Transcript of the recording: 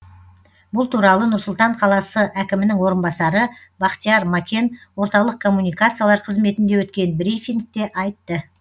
бұл туралы нұр сұлтан қаласы әкімінің орынбасары бахтияр макен орталық коммуникациялар қызметінде өткен брифингте айтты